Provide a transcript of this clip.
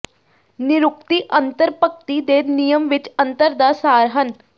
ਨਿਰੁਕਤੀ ਅੰਤਰ ਭਗਤੀ ਦੇ ਨਿਯਮ ਵਿੱਚ ਅੰਤਰ ਦਾ ਸਾਰ ਹਨ